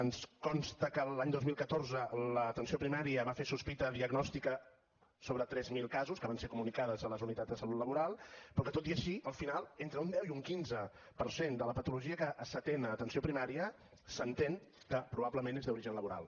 ens consta que l’any dos mil catorze l’atenció primària va fer sospita diagnòstica sobre tres mil casos que van ser comunicades a les unitats de salut laboral però que tot i així al final entre un deu i un quinze per cent de la patologia que s’atén a l’atenció primària s’entén que probablement és d’origen laboral